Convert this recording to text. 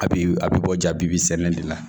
A bi a bi bɔ jabi de la